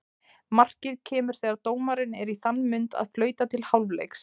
Markið kemur þegar dómarinn er í þann mund að flauta til hálfleiks.